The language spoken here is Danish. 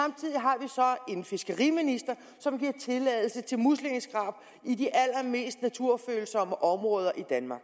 en fiskeriminister som giver tilladelse til muslingeskrab i de allermest naturfølsomme områder i danmark